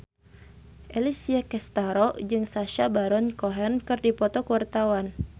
Alessia Cestaro jeung Sacha Baron Cohen keur dipoto ku wartawan